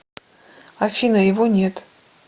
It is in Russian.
афина его нет